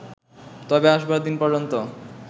তবে আসবার দিন পর্যন্ত